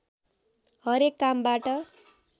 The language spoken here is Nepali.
हरेक कामबाट